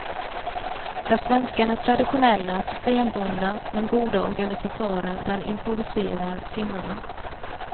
Där svenskarna är traditionella, systembundna men goda organisatörer, där improviserar finnarna.